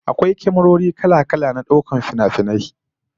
Akwai kyamarori kala-kala na daukar finafinai